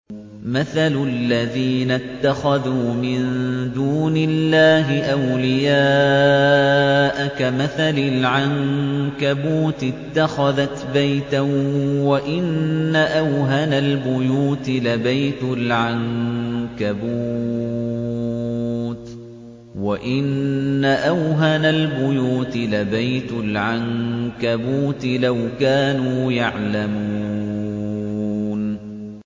مَثَلُ الَّذِينَ اتَّخَذُوا مِن دُونِ اللَّهِ أَوْلِيَاءَ كَمَثَلِ الْعَنكَبُوتِ اتَّخَذَتْ بَيْتًا ۖ وَإِنَّ أَوْهَنَ الْبُيُوتِ لَبَيْتُ الْعَنكَبُوتِ ۖ لَوْ كَانُوا يَعْلَمُونَ